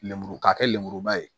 Lemuru k'a kɛ lemuruba ye